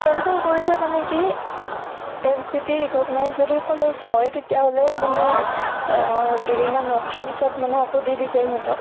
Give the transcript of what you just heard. cancel কৰিছে মানে কি university recognized যদি college হয় তেতিয়াহʼলে মানে আহ দুদিন মান ৰখাৰ পিছত মানে আকৌ দি দিছে ইহঁতক।